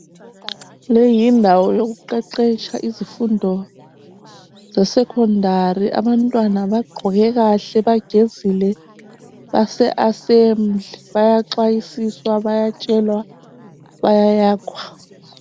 Leyi ndawo yokuqeqetsha izifundo zesecondary ,abantwana bagqoke kahle ,bagezile base assembly. Bayaxwayisiswa bayatshelwa bayayakhwa.